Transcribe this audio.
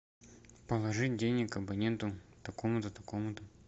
положи денег абоненту такому то такому то